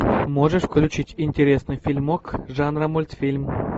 можешь включить интересный фильмок жанра мультфильм